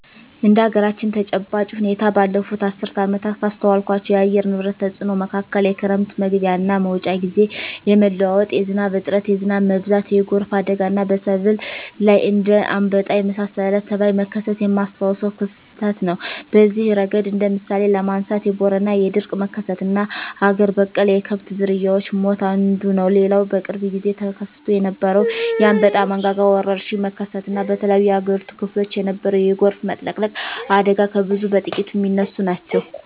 እንደ አገራችን ተጨባጭ ሁኔታ ባለፋት አስርት ዓመታት ካስተዋልኳቸው የአየር ንብረት ተጽኖ መካከል የክረም መግቢያና መውጫ ግዜ የመለዋወጥ፣ የዝናብ እጥረት፣ የዝናብ መብዛት፣ የጎርፍ አደጋና በሰብል ላይ እንደ አንበጣ የመሳሰለ ተባይ መከሰት የማስታውሰው ክስተት ነው። በዚህ እረገድ እንደ ምሳሌ ለማንሳት የቦረና የድርቅ መከሰትና አገር በቀል የከብት ዝርያወች ሞት አንዱ ነው። ሌላው በቅርብ ግዜ ተከስቶ የነበረው የአንበጣ መንጋ ወረርሽኝ መከሰት እና በተለያዮ የአገሪቱ ክፍሎች የነበረው የጎርፍ መጥለቅለቅ አደጋ ከብዙ በጥቂቱ ሚነሱ ናቸው።